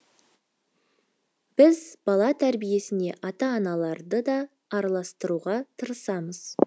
біз бала тәрбиесіне ата аналарды да араластыруға тырысамыз